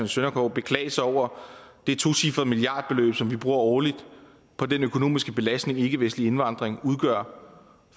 søndergaard beklage sig over det tocifrede milliardbeløb som vi bruger årligt på den økonomiske belastning den ikkevestlige indvandring udgør